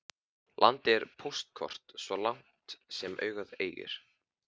Landið er póstkort svo langt sem augað eygir.